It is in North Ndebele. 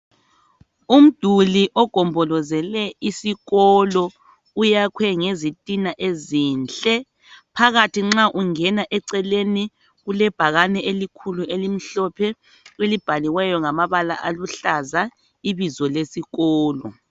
Umduli ogombolozele isikolo uyakhwe ngezitina ezinhle. Phakathi nxa ungena eceleni, kulebhakane elikhulu, elimhlophe, elibhaliweyo ngamabala aluhlaza. Ibizo lesikolo.